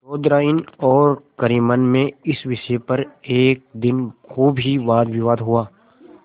चौधराइन और करीमन में इस विषय पर एक दिन खूब ही वादविवाद हुआ